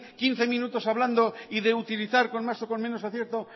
quince minutos hablando y de utilizar con más o con menos acierto